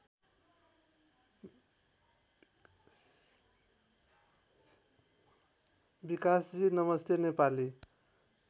विकासजी नमस्ते नेपाली